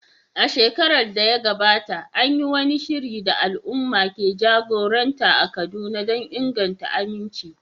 A shekarar da ta gabata, an yi wani shiri da al’umma ke jagoranta a Kaduna don inganta aminci.